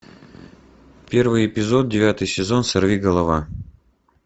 первый эпизод девятый сезон сорви голова